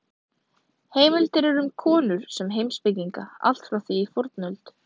Heimildir eru um konur sem heimspekinga allt frá því í fornöld.